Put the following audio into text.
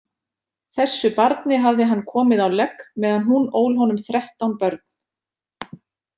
Þessu barni hafði hann komið á legg meðan hún ól honum þrettán börn.